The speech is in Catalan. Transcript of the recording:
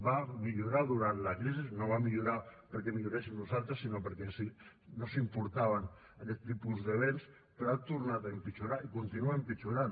va millorar durant la crisi no va millorar perquè milloréssim nosaltres sinó perquè no s’importaven aquest tipus d’esdeveniments però ha tornat a empitjorar i continua empitjorant